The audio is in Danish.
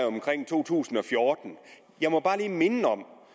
omkring to tusind og fjorten jeg må bare lige minde om